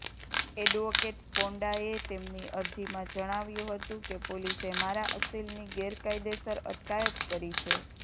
advocate પોંડાએ તેમની અરજીમાં જણાવ્યું હતું કે પોલીસે મારા અસીલની ગેરકાયદેસર અટકાયત કરી છે